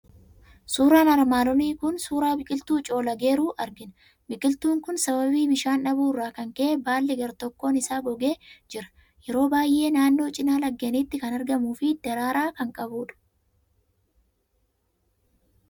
Suuraan kun armaan olii suuraa biqiltuu coolageeruu argina. Bikiltuun kun sababii bishaan dhabuu irraa kan ka'e, baalli gar-tokkoon isaa gogee jira. Yeroo baay'ee naannoo cinaa laggeeniitti kan argamuu fi daraaraa kan qabudha.